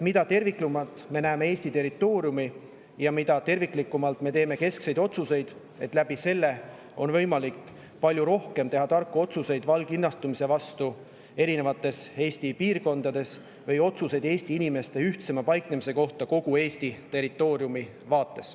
Mida terviklikumalt me näeme Eesti territooriumi, seda rohkem on võimalik teha keskseid ja tarku otsuseid valglinnastumise erinevates Eesti piirkondades või otsuseid Eesti inimeste ühtlasemaks paiknemiseks kogu Eesti territooriumi vaates.